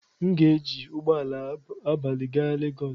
M ga-eji ụgbọ ala abalị gaa Legos.